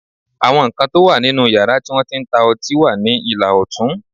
Àwọn nǹkan tó wà nínú yàrá tí wọ́n ti ń ta ọtí wà ní ìlà ọ̀tún